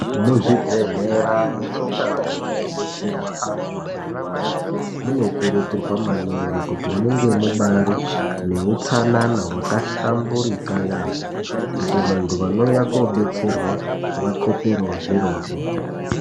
Muzvibhehlera nemundau dzinobetserwa anhu anorwara munokurudzirwa maningi kuti munge mubaari neutsanana hwakahlamburika yaamho kuti vanhu vanouya kobetserwa vakoperewo zvirozvo.